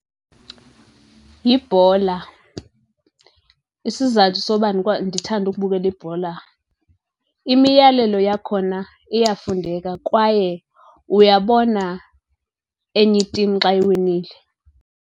Yibhola, isizathu soba ndithande ukubukela ibhola, imiyalelo yakhona iyafundeka kwaye uyabona enye itim xa iwinile.